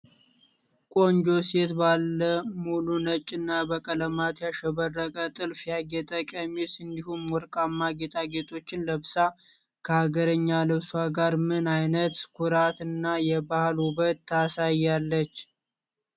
ቆንጆ ሴት ባለ ሙሉ ነጭ እና በቀለማት ያሸበረቀ ጥልፍ ያጌጠ ቀሚስ እንዲሁም ወርቃማ ጌጣጌጦችን ለብሳ፣ ከሀገርኛ ልብሷ ጋር ምን አይነት ኩራት እና የባህል ውበት ታሳያለች?